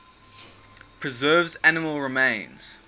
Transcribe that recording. preserves animal remains